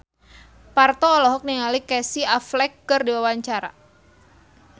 Parto olohok ningali Casey Affleck keur diwawancara